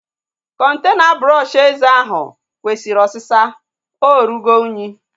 Kọntena brọọshi eze ahụ kwesịrị osịsa. Ọ rụgo unyi